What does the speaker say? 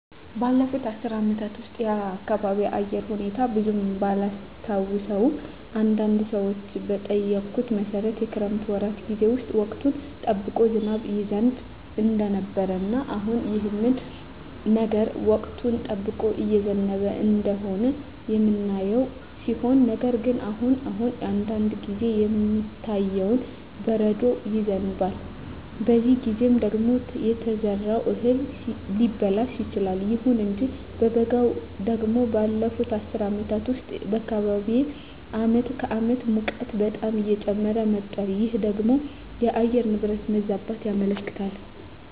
ባለፉት አስር አመታት ውስጥ የአካባቢየ የአየር ሁኔታ ብዙም ባላስታውሰውም አንዳንድ ሰዎችን በጠየኩት መሠረት የክረምት ወራት ጌዜ ውስጥ ወቅቱን ጠብቆ ዝናብ ይዘንብ እንደነበረ እና አሁንም ይህ ነገር ወቅቱን ጠብቆ እየዘነበ እንደሆነ የምናየው ሲሆን ነገር ግን አሁን አሁን አንዳንድ ጊዜ የሚታየው በረዶ ይዘንባል በዚህ ጊዜ ደግሞ የተዘራው እህል ሊበላሽ ይችላል። ይሁን እንጂ በበጋው ደግሞ ባለፋት አስር አመታት ውስጥ በአካባቢየ አመት ከአመት ሙቀቱ በጣም እየጨመረ መጧል ይህ ደግሞ የአየር ንብረት መዛባትን ያመለክታል